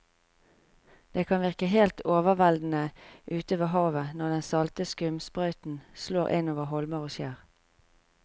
Det kan virke helt overveldende ute ved havet når den salte skumsprøyten slår innover holmer og skjær.